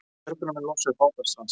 Björgunarmenn losuðu bát af strandstað